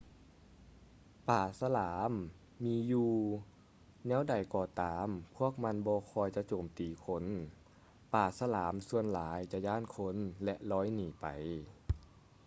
ປາສະຫຼາມມີຢູ່ ແນວໃດກໍຕາມພວກມັນບໍ່ຄ່ອຍຈະໂຈມຕີຄົນ ປາສະຫຼາມສ່ວນຫຼາຍຈະຢ້ານຄົນ ແລະ ລອຍໜີໄປ